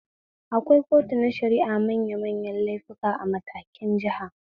Akwai kotu na shara'ar manyan laifuka a matakin jiha